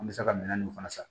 An bɛ se ka minɛn nunnu fana san